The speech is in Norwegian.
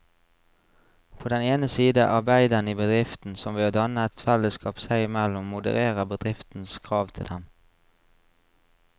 På den ene side arbeiderne i bedriften, som ved å danne et fellesskap seg imellom modererer bedriftens krav til dem.